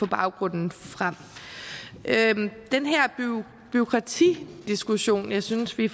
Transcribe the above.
baggrunden frem den her bureaukratidiskussion jeg synes vi